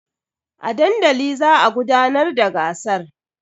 A dandali za a gudanar da gasar.